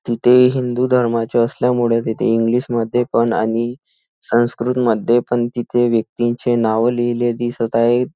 तिथे हिंदूधर्माच्या असल्यामुळे तिथे इंग्लिश मध्ये पण आणि संस्कृत मध्ये पण तिथे व्यक्तींचे नाव लिहिले दिसत आहेत.